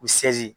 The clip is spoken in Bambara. U sresi